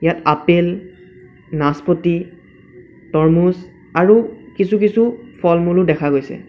ইয়াত আপেল নাচপতি তৰ্মুজ আৰু কিছু কিছু ফল-মূলও দেখা গৈছে।